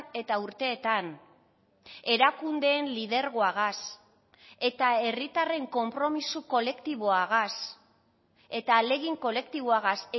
eta urteetan erakundeen lidergoagaz eta herritarren konpromiso kolektiboagaz eta ahalegin kolektiboagaz